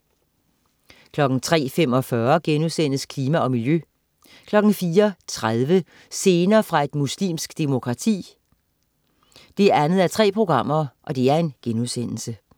03.45 Klima og miljø* 04.30 Scener fra et muslimsk demokrati 2:3*